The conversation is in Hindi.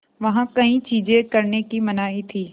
वहाँ कई चीज़ें करने की मनाही थी